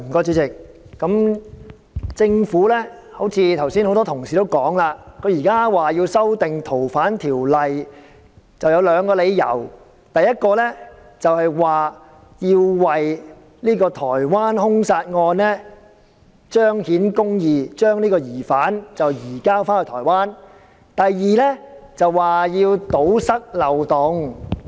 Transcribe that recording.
主席，很多同事剛才談到，政府現在提出修訂《逃犯條例》，理由有二：第一，要為去年在台灣發生的兇殺案受害人彰顯公義，將疑犯移交到台灣；第二，為了堵塞漏洞。